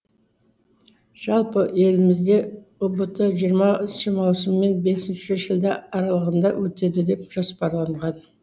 жалпы елімізде ұбт жиырмасыншы маусым мен бесінші шілде аралығында өтеді деп жоспарланған